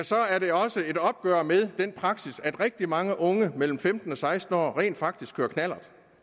så er det også et opgør med den praksis at rigtig mange unge mellem femten og seksten år rent faktisk kører knallert